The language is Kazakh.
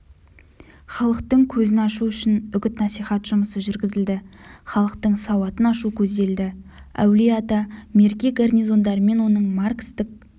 халықтың көзін ашу үшін үгіт-насихат жұмысы жүргізілді халықтың сауатын ашу көзделді әулие-ата мерке гарнизондарымен оның маркстік